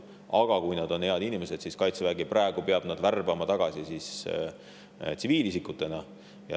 Kui nad on hea, siis Kaitsevägi praegu peab nad värbama tagasi tsiviilisikutena.